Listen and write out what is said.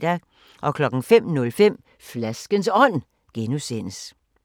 05:05: Flaskens Ånd (G)